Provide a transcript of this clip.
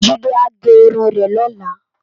Jide á gè irún rè lòlá